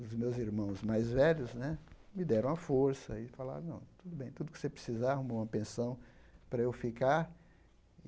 Os meus irmãos mais velhos né me deram a força e falaram, não tudo bem, tudo o que você precisar, arrumou uma pensão para eu ficar.